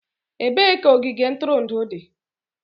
Ebee ka ogige ntụrụndụ dị?